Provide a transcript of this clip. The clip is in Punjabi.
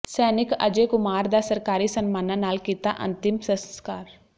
ਸੈਨਿਕ ਅਜੈ ਕੁਮਾਰ ਦਾ ਸਰਕਾਰੀ ਸਨਮਾਨਾਂ ਨਾਲ ਕੀਤਾ ਅੰਤਿਮ ਸੰਸਕਾਰ